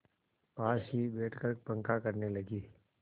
पास ही बैठकर पंखा करने लगी